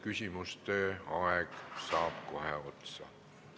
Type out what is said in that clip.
Küsimuste aeg saab kohe otsa.